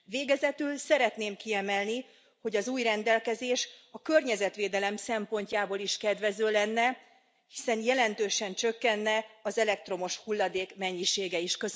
Végezetül szeretném kiemelni, hogy az új rendelkezés a környezetvédelem szempontjából is kedvező lenne, hiszen jelentősen csökkenne az elektromos hulladék mennyisége is.